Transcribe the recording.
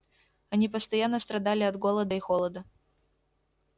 они постоянно страдали от голода и холода